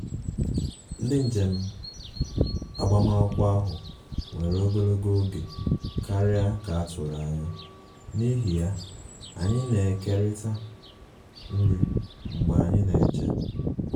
Ndị njem agbamakwụkwọ ahụ were ogologo oge karịa ka a turu anya, n'ihi ya, anyị na-ekerịta nri mgbe anyị na-eche